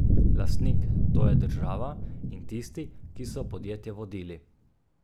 Lastnik, to je država, in tisti, ki so podjetje vodili.